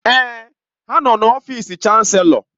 Èè, ha nọ n'ọfịs Chanselọ